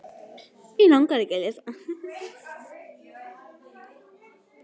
Bæði orðið þumalfingursregla og þumalputtaregla eru notuð um að hafa eitthvað sem almenna, lauslega viðmiðun.